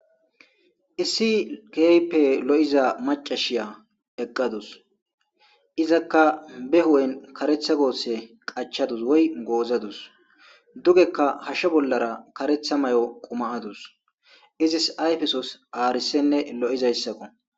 issi geype lo7iza macashiya eqqadus izakka be hu7en karetha goosse qachadus woy goozadus dugekka hashshe bollara karetha may7o qumaadus izis ayfesos aarisenne lo7izayssako